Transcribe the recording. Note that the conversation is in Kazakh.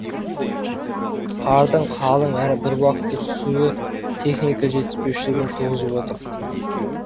қардың қалың әрі бір уақытта түсуі техника жетіспеушілігін туғызып отыр